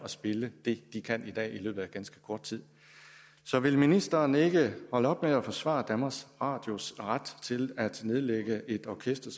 spille det de kan i dag i løbet af ganske kort tid så vil ministeren ikke holde op med at forsvare danmarks radios ret til at nedlægge et orkester